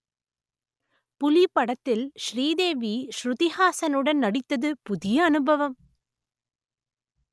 புலி படத்தில் ஸ்ரீதேவி ஷ்ருதிஹாசனுடன் நடித்தது புதிய அனுபவம்